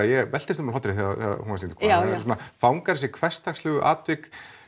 ég veltist um af hlátri þegar hún var sýnd hún svona fangar þessi hversdagslegu atvik